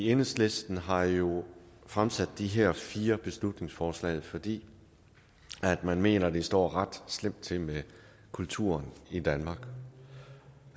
enhedslisten har jo fremsat de her fire beslutningsforslag fordi man mener at det står ret slemt til med kulturen i danmark